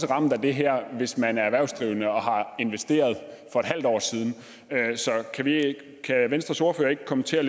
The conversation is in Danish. ramt af det her hvis man er erhvervsdrivende og har investeret for et halvt år siden kan venstres ordfører ikke kommentere